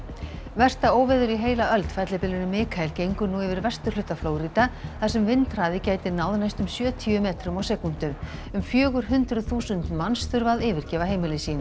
versta óveður í heila öld fellibylurinn Mikael gengur nú yfir vesturhluta Flórída þar sem vindhraði gæti náð næstum sjötíu metrum á sekúndu um fjögur hundruð þúsund manns þurfa að yfirgefa heimili sín